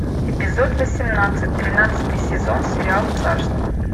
эпизод восемнадцать тринадцатый сезон сериал царство